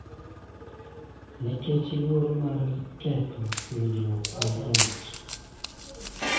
Nikech luoro mar ketho winjruok mar joot.